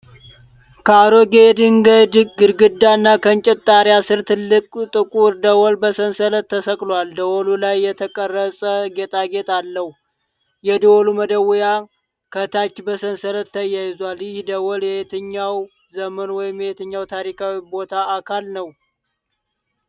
ከአሮጌ የድንጋይ ግድግዳ እና ከእንጨት ጣሪያ ስር ትልቅ ጥቁር ደወል በሰንሰለት ተሰቅሏል። ደወሉ ላይ የተቀረጸ ጌጣጌጥ አለው። የደወሉ መደወያ (clapper) ከታች በሰንሰለት ተያይዟል። ይህ ደወል የየትኛው ዘመን ወይም የትኛው ታሪካዊ ቦታ አካል ነው?